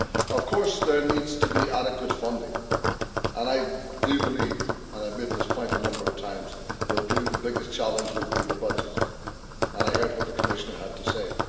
Of course, there needs to be adequate funding and I believe and I have made this point a number of times the biggest challenge will be the budget, and I heard what the Commissioner had to say.